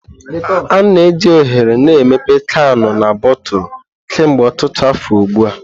A na-eji oghere na emepe kanu na botulu kemgbe ọtụtụ afọ ugbu a.